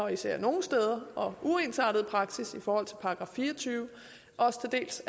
især nogle steder og den uensartede praksis i forhold til § fire og tyve og til dels